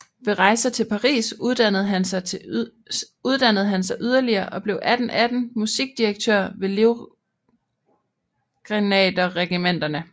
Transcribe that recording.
Ved rejser til Paris uddannede han sig yderligere og blev 1818 musikdirektør ved livgrenaderregimenterne